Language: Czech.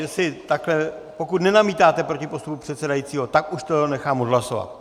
Jestli takhle, pokud nenamítáte proti postupu předsedajícího, tak už to nechám odhlasovat.